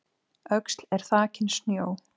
Öxl er þakin snjó